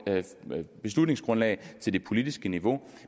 beslutningsgrundlag til det politiske niveau